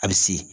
A bɛ se